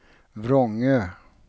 Vrångö